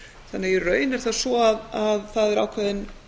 þannig í raun er það svo að það er ákveðin